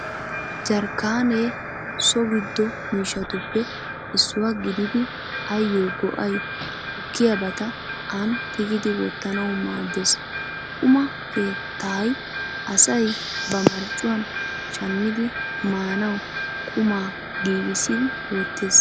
Jarkkaane so giddo mishshatuppe issuwaa gididi ayyo go'ay gukkiyaabata aani tigidi wottanawu maaddees. Quma keettay asay ba marccuwaan shammidi maanawu qumaa giigissidi wottees.